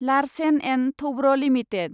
Larsen & Toubro limited